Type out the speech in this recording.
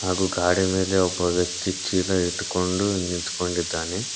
ನಾವು ಗಾಡಿಯ ಮೇಲೆ ಒಬ್ಬ ವ್ಯಕ್ತಿ ಚೀಲ ಇಟ್ಕೊಂಡು ನಿಂತಿದ್ದಾನೆ.